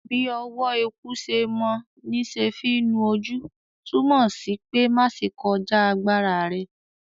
“Bí ọwọ́ eku se mọ ní se fí nu ojú” túmọ̀ sí pé má ṣe kọjá agbára rẹ.